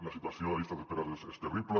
la situació de llistes d’espera és terrible